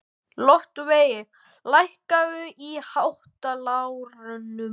Loftveig, lækkaðu í hátalaranum.